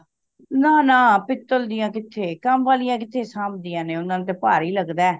ਨਾ ਨਾ ਪੀਤਲ ਦੀਆਂ ਕਿੱਥੇ ਕਾੱਮ ਵਾਲਿਆਂ ਕਿੱਥੇ ਸੰਭਦੀਆਂ ਨੇ ਓਹਨਾ ਨੂੰ ਤੇ ਭਾਰੀ ਲਗਦਾ